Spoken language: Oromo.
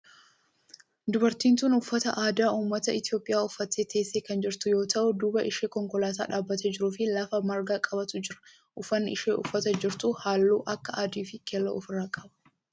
Dubartiin tun uffata aadaa ummata Itiyoophiyaa uffattee teessee kan jirtu yoo ta'u duuba ishee konkolaataa dhaabbatee jiru fi lafa marga qabutu jira. Uffanni isheen uffattee jirtu halluu akka adii fi keelloo of irraa qaba.